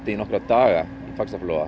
í nokkra daga það